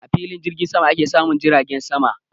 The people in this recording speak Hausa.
A filin jirgin sama ake samun jiragen sama